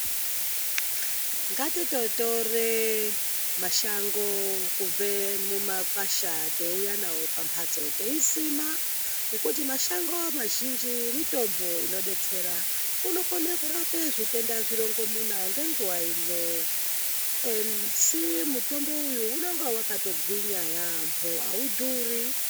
Ngatitotore mashango kubve mumakwasha teiuya navo pamhatso. Teisima ngekuti mashango mazhinji mitombo inobetsera. Unokone kurape zvitenda zvirongomuna ngenguva imwe. Asi mutombo uyu unonga vakatogwinya yaambo haudhuri.